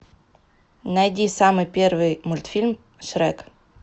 найди самый первый мультфильм шрек